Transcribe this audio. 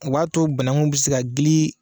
O b'a to banakunw bɛ se ka gili